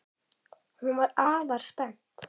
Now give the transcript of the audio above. Hún er afar spennt.